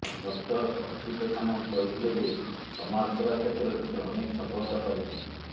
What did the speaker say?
doctor Achyuta Samanta କହିଥିଲେ ଯେ ସମାଜସେବା କ୍ଷେତ୍ରରେ ସେ ଅନେକ ସଫଳତା ପାଇଛନ୍ତି